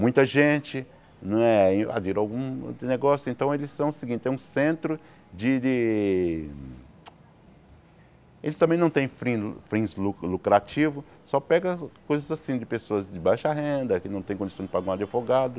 Muita gente não é invadiu algum negócio, então eles são o seguinte, é um centro de de... Eles também não tem frin fins lu lucrativos, só pegam coisas assim de pessoas de baixa renda, que não têm condições de pagar um advogado.